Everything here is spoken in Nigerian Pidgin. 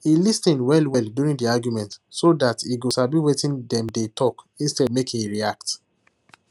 he lis ten well well during the argument so dat e go sabi wetin dem dey talk instead make he react